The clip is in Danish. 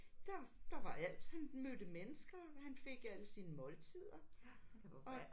Der der var alt han mødte mennesker han fik alle sine måltider og